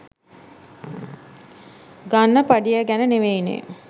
ගන්න පඩිය ගැන නෙවෙයිනේ